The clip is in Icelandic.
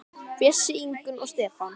Bjössi, Ingunn og Stefán.